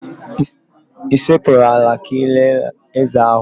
Ị sekpuru ala kelee ézè ahụ?